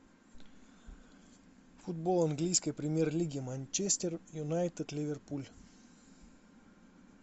футбол английской премьер лиги манчестер юнайтед ливерпуль